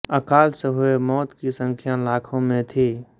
अकाल से हुए मौत की संख्या लाखो में थी